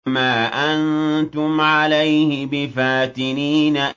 مَا أَنتُمْ عَلَيْهِ بِفَاتِنِينَ